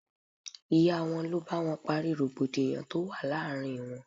Ìyá wọn ló bá wọn parí rògbòdìyàn tó wà láàárín wọn.